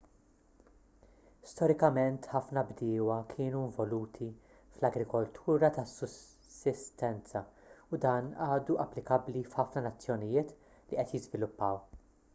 storikament ħafna bdiewa kienu involuti fl-agrikoltura tas-sussistenza u dan għadu applikabbli f'ħafna nazzjonijiet li qed jiżviluppaw